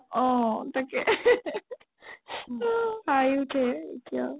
অ তাকে অ হাঁহি উঠে এতিয়া